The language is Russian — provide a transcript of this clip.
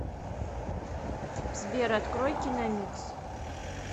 сбер открой киномикс